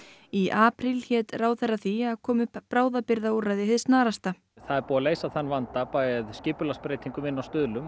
í apríl hét ráðherra því að koma upp bráðabirgðaúrræði hið snarasta það er búið að leysa þann vanda með skipulagsbreytingum inni á Stuðlum